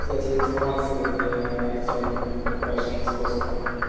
кстати информация для артема и паша московского